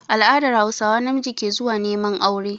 A all'adar hausawa, namiji ke zuwa neman aure